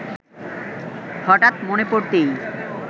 হঠাৎ মনে পড়তেই